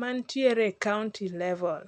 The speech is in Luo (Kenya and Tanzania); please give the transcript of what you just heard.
mantiere e kaonti level.